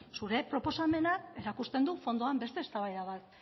zure proposamenak erakusten du fondoan beste eztabaida bat